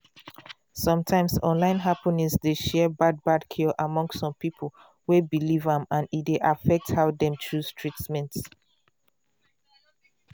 sometimes online happening dey share bad bad cure among some people wey believe am and e dey affect how dem chose treatment